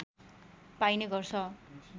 पाइने गर्छ